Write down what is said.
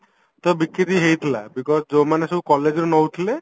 ତ ବିକିରି ହେଇଥିଲା because ଯୋଉ ମାନେ ସବୁ collegeରୁ ନଉଥିଲେ